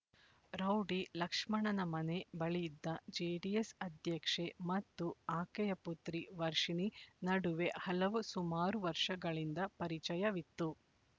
rowdy ಲಕ್ಷ್ಮಣನ ಮನೆ ಬಳಿಯಿದ್ದ ಜೆಡಿಎಸ್ ಅಧ್ಯಕ್ಷೆ ಮತ್ತು ಆಕೆಯ ಪುತ್ರಿ ವರ್ಷಿಣಿ ನಡುವೆ ಹಲವು ಸುಮಾರು ವರ್ಷಗಳಿಂದ ಪರಿಚಯವಿತ್ತು